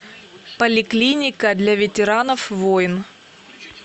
поликлиника для ветеранов войн